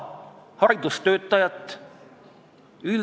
Kultuurikomisjonis teiste riikide praktika minu mäletamist mööda kõne all ei olnud.